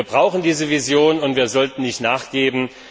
Wir brauchen diese Vision, und wir sollten nicht nachgeben.